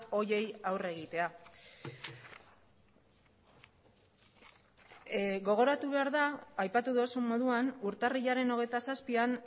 horiei aurre egitea gogoratu behar da aipatu duzun moduan urtarrilaren hogeita zazpian